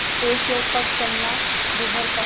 एकएक पग चलना दूभर था